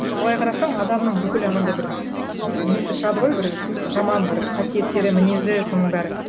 былай қарасаң адамның бүкіл анандай бір ы несі шығады ғой бір жаман бір қасиеттері мінезі соның бәрі